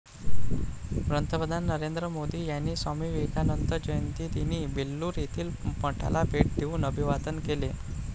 पंतप्रधान नरेंद्र मोदी यांनी स्वामी विवेकानंद जयंतीदिनी बेल्लूर येथील मठाला भेट देऊन अभिवादन केले.